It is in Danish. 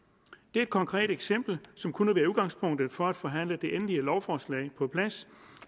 et konkret eksempel som kunne være udgangspunktet for at forhandle det endelige lovforslag på plads